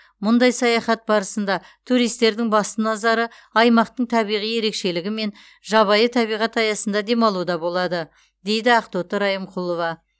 мұндай саяхат барысында туристердің басты назары аймақтың табиғи ерекшелігі мен жабайы табиғат аясында демалуда болады дейді ақтоты райымқұлова